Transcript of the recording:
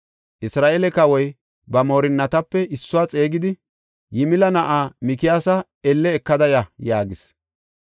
Isra7eele kawoy ba moorinatape issuwa xeegidi, “Yimila na7aa Mikiyaasa elle ekada ya” yaagis.